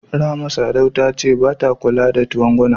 Rahama Sadau ta ce bata kula twangwama.